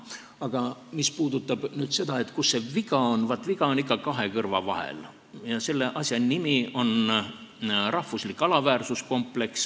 Aga mis puudutab seda, kus see viga on, siis viga on ikka kahe kõrva vahel ja selle asja nimi on rahvuslik alaväärsuskompleks.